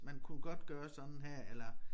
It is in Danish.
Man kunne godt gøre sådan her eller